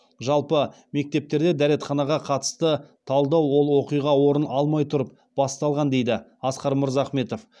жалпы мектептердегі дәретханаға қатысты талдау ол оқиға орын алмай тұрып басталған дейді асқар мырзахметов